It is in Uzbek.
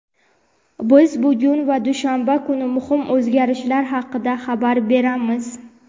biz bugun va dushanba kuni muhim o‘zgarishlar haqida xabar beramiz.